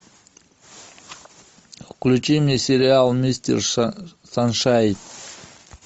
включи мне сериал мистер саншайн